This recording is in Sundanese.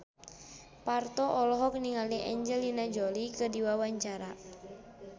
Parto olohok ningali Angelina Jolie keur diwawancara